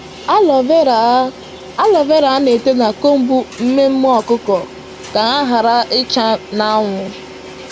Aloe vera á Aloe vera á nà ete na combs mmemmé ọkụkọ ka ha ghara ịcha n’anwụ.